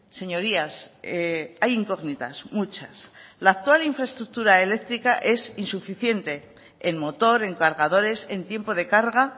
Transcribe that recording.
señorías hay incógnitas muchas la actual infraestructura eléctrica es insuficiente en motor en cargadores en tiempo de carga